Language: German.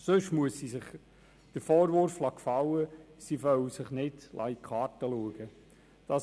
Sonst muss sie sich den Vorwurf gefallen lassen, sie wolle sich nicht in die Karten blicken lassen.